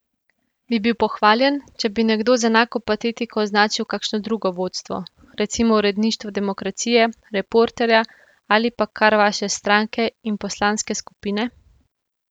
Bi bil pohvaljen, če bi nekdo z enako patetiko označil kakšno drugo vodstvo, recimo uredništvo Demokracije, Reporterja ali pa kar vaše stranke in poslanske skupine?